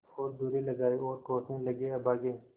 और दुर्रे लगाये और कोसने लगेअभागे